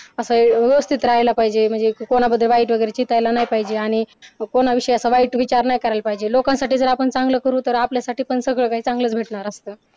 असं व्यवस्थित राहिला पाहिजे म्हणजे असं कोणा विषयी वाईट चितायला नाही पाहिजे आणि कोणाविषयी असे वाईट विचार नाही करायला पाहिजे लोकांसाठी जर आपण चांगलं करू तर आपल्यासाठी पण सगळं काही चांगलंच भेटणार असंत.